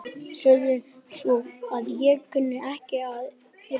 Segðu svo að ég kunni ekki að yrkja!